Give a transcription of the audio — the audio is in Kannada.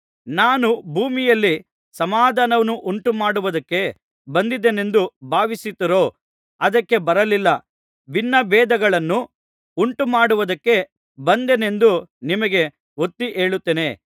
ನಾನು ಭೂಮಿಯಲ್ಲಿ ಸಮಾಧಾನವನ್ನುಂಟು ಮಾಡುವುದಕ್ಕೆ ಬಂದೆನೆಂದು ಭಾವಿಸುತ್ತೀರೋ ಅದಕ್ಕೆ ಬರಲಿಲ್ಲ ಭಿನ್ನಭೇದಗಳನ್ನು ಉಂಟುಮಾಡುವದಕ್ಕೆ ಬಂದೆನೆಂದು ನಿಮಗೆ ಒತ್ತಿ ಹೇಳುತ್ತೇನೆ